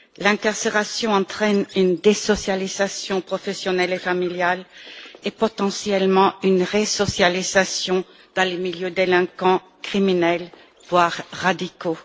L'incarcération entraîne une désocialisation professionnelle et familiale, et potentiellement une resocialisation dans les milieux délinquants criminels, voire radicaux.